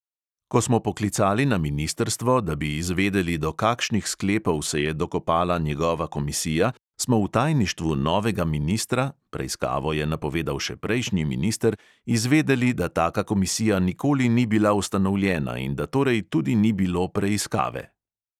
Ko smo poklicali na ministrstvo, da bi izvedeli, do kakšnih sklepov se je dokopala njegova komisija, smo v tajništvu novega ministra (preiskavo je napovedal še prejšnji minister) izvedeli, da taka komisija nikoli ni bila ustanovljena in da torej tudi ni bilo preiskave.